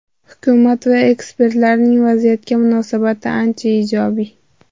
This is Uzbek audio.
Hukumat va ekspertlarning vaziyatga munosabati ancha ijobiy.